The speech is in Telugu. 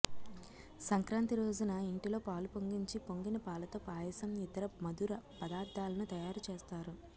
సంక్రాంతి రోజున ఇంటిలో పాలు పొంగించి పొంగిన పా లతో పాయసం ఇతర మధుర పదార్ధాల ను తయారు చేస్తారు